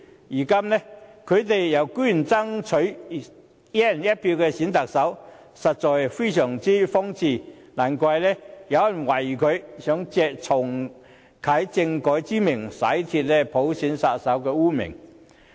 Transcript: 如今，他們居然說要爭取"一人一票"選特首，實在非常荒謬，難怪有人懷疑他們想藉重啟政改以洗脫其"普選殺手"的污名。